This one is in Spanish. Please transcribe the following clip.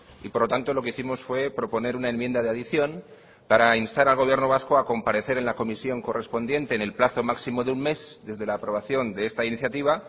y por lo tanto lo que hicimos fue proponer una enmienda de adición para instar al gobierno vasco a comparecer en la comisión correspondiente en el plazo máximo de un mes desde la aprobación de esta iniciativa